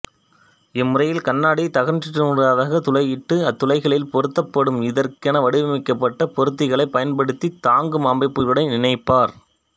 இம்முறையில் கண்ணாடித் தகட்டினூடாகத் துளையிட்டு அத்துளைகளில் பொருத்தப்படும் இதற்கென வடிவமைக்கப்பட்ட பொருத்திகளைப் பயன்படுத்தித் தாங்கும் அமைப்புக்களுடன் இணைப்பர்